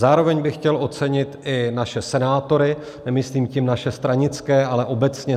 Zároveň bych chtěl ocenit i naše senátory - nemyslím tím naše stranické, ale obecně